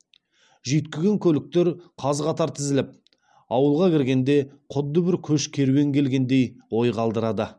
жүйіткіген көліктер қаз қатар тізіліп ауылға кіргенде құдды бір көш керуен келгендей ой қалдырады